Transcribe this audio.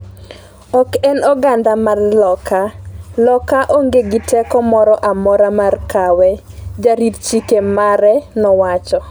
Ok en oganda mar Loka, Loka onge gi teko moro amora mar kawe," jarit chike mare nowacho.